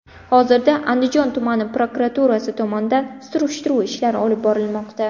Hozirda Andijon tumani prokuraturasi tomonidan surishtiruv ishlari olib borilmoqda.